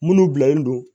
Minnu bilalen don